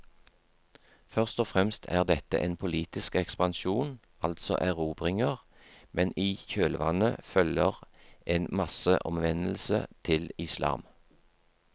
Først og fremst er dette en politisk ekspansjon, altså erobringer, men i kjølvannet følger en masseomvendelse til islam.